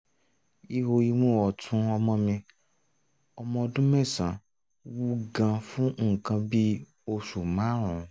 ihò imú ọ̀tún ọmọ mi ọmọ ọdún mẹ́sàn-án wú gan-an fún nǹkan bí oṣù márùn-ún